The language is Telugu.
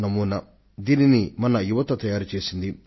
అదే మన విద్యార్థులను ఈ ఉపగ్రహాన్ని తీర్చిదిద్దేటట్లుగా చేసింది